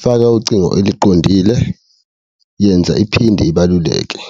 faka ucingo eliqondile, yenza iphinde ibaluleke.